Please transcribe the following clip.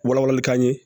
Wala walali ka ɲɛ